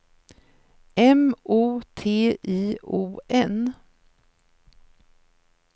M O T I O N